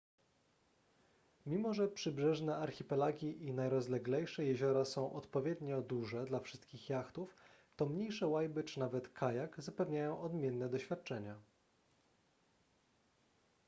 mimo że przybrzeżne archipelagi i najrozleglejsze jeziora są odpowiednio duże dla wszystkich jachtów to mniejsze łajby czy nawet kajak zapewniają odmienne doświadczenia